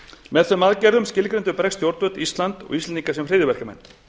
með þeim aðgerðum skilgreindu bresk stjórnvöld ísland og íslendinga sem hryðjuverkamenn